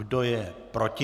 Kdo je proti?